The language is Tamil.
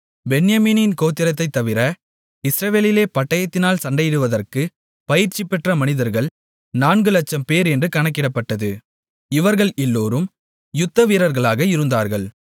பென்யமீன் கோத்திரத்தைத் தவிர இஸ்ரவேலிலே பட்டயத்தினால் சண்டையிடுவதற்குப் பயிற்சிபெற்ற மனிதர்கள் நான்கு லட்சம்பேர் என்று கணக்கிடப்பட்டது இவர்கள் எல்லோரும் யுத்தவீரர்களாக இருந்தார்கள்